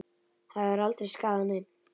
Það hefur aldrei skaðað neinn.